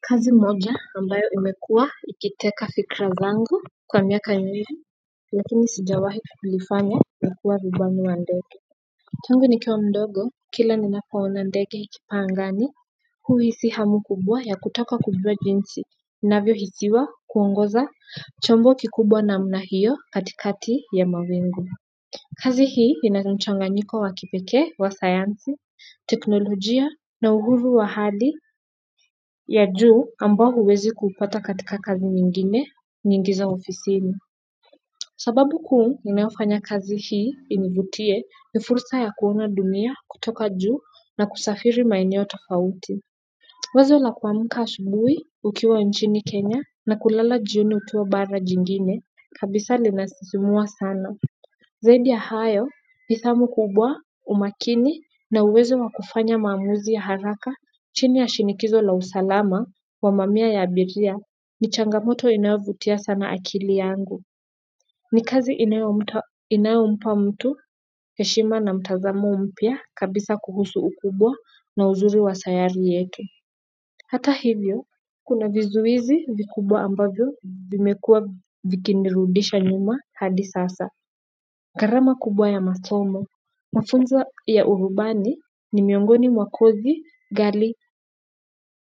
Kazi moja ambayo imekuwa ikiteka fikra zangu kwa miaka mingi, lakini sijawahi kuifanya, ni kuwa rubani wa ndege. Tangu nikiwa mdogo kila ninapoona ndege ikipaa angani huhisi hamu kubwa ya kutaka kujua jinsi inavyohisiwa kuongoza chombo kikubwa namna hiyo katikati ya mawingu kazi hii ina mchanganyiko wa kipekee wa sayansi teknolojia na uhuru wa hali ya juu ambao huwezi kuupata katika kazi nyingine nyingi za ofisini sababu kuu inayofanya kazi hii inivutie ni fursa ya kuona dunia kutoka juu na kusafiri maeneo tofauti wazo la kuamka asubuhi ukiwa nchini Kenya na kulala jioni ukiwa bara jingine kabisa linasisimua sana zaidi ya hayo, ni zamu kubwa, umakini na uwezo wa kufanya maamuzi ya haraka chini ya shinikizo la usalama wa mamia ya abiria ni changamoto inayovutia sana akili yangu. Ni kazi inayompa mtu, heshima na mtazamo mpya kabisa kuhusu ukubwa na uzuri wa sayari yetu. Hata hivyo, kuna vizuizi vikubwa ambavyo vimekuwa vikinirudisha nyuma hadi sasa. Gharama kubwa ya masomo. Mafunzo ya urubani ni miongoni mwa kozi ghali